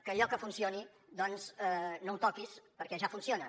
que allò que funcioni doncs no ho toquis perquè ja funciona